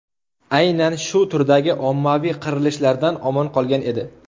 Aynan shu turlar ommaviy qirilishdan omon qolgan edi.